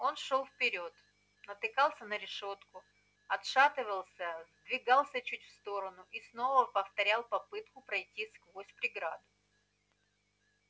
он шёл вперёд натыкался на решётку отшатывался сдвигался чуть в сторону и снова повторял попытку пройти сквозь преграду